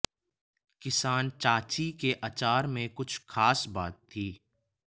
किसान चाची के अचार में कुछ खास बात थी